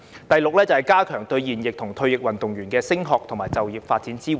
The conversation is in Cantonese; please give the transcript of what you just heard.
第六，加強對現役和退役運動員的升學及就業發展支援。